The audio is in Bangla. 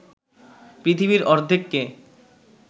পৃথিবীর অর্ধেককে